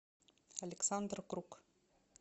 александр круг